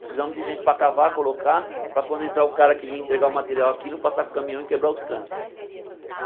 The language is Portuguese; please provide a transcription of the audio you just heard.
Precisamos de gente para cavar, colocar, para quando entrar o cara que vem entregar o material aqui não passar com caminhão e quebrar os canos.